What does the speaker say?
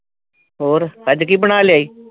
ਹੋਰ ਅੱਜ ਕੀ ਬਣਾ ਲਿਆ ਈ